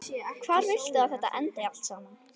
Hvar viltu að þetta endi allt saman?